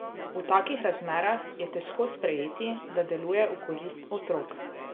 V takih razmerah je težko sprejeti, da deluje v korist otrok.